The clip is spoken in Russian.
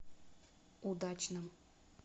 удачном